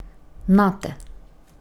Nate!